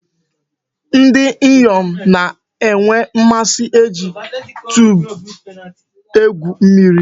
Ndi inyom na-enwe mmasi iji tube egwu mmiri.